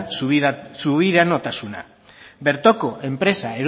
subiranotasuna bertoko enpresak